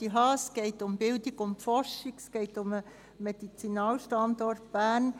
Es geht um Bildung und Forschung, es geht um den Medizinalstandort Bern: